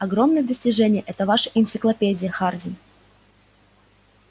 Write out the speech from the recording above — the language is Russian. огромное достижение эта ваша энциклопедия хардин